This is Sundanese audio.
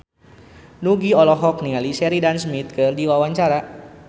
Nugie olohok ningali Sheridan Smith keur diwawancara